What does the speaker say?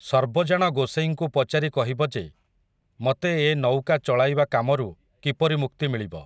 ସର୍ବଜାଣ ଗୋସେଇଁଙ୍କୁ ପଚାରି କହିବ ଯେ, ମତେ ଏ ନଉକା ଚଳାଇବା କାମରୁ, କିପରି ମୁକ୍ତି ମିଳିବ ।